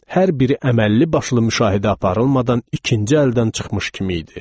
Hər biri əməlli başlı müşahidə aparılmadan ikinci əldən çıxmış kimi idi.